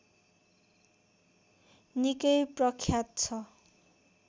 निकै प्रख्यात छ